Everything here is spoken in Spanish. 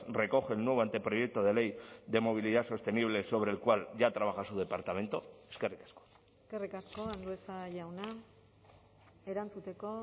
recoge el nuevo anteproyecto de ley de movilidad sostenible sobre el cual ya trabaja su departamento eskerrik asko eskerrik asko andueza jauna erantzuteko